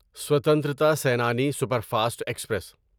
Swatantra Senani superfast express